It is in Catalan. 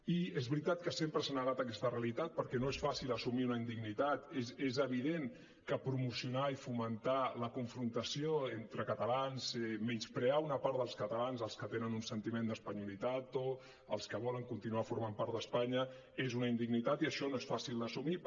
i és veritat que sempre s’ha negat aquesta realitat perquè no és fàcil assumir una indignitat és evident que promocionar i fomentar la confrontació entre catalans menysprear una part dels catalans els que tenen un sentiment d’espanyolitat o els que volen continuar formant part d’espanya és una indignitat i això no és fàcil d’assumir